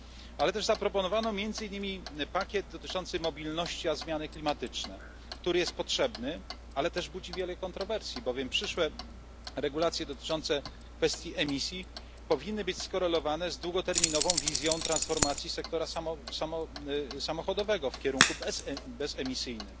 Ale też zaproponowano między innymi pakiet mobilność a zmiany klimatyczneˮ, który jest potrzebny, ale też budzi wiele kontrowersji, bowiem przyszłe regulacje dotyczące kwestii emisji powinny być skorelowane z długoterminową wizją transformacji sektora samochodowego w kierunku bezemisyjnym.